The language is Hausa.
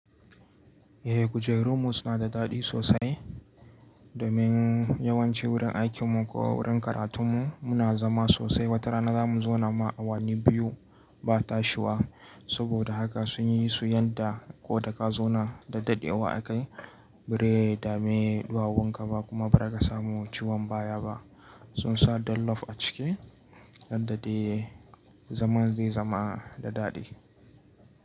Eh kujeru mu suna da daɗi sosai. Domin yawanci wurin aikin mu ko wurin karatun mu muna zama sosai. Wata rana za mu zauna ma awanni biyu ba ta shuwa. Saboda haka sun yi su yadda ko da ka zauna da daɗewa a kai, birai da mai duwawun ka ba kuma ba za ka samu ciwon baya ba. Sun sa dollof a ciki, yadda dai zama zai zama da daɗi.